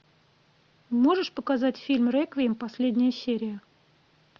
можешь показать фильм реквием последняя серия